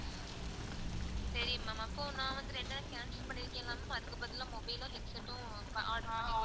சரி ma'am அப்போ நான் வந்து ரெண்டையும் cancel பண்ணிருக்கன்ல ma'am அதுக்கு பதிலா mobile ம் headset ம் order பண்ணிக்கோங்க.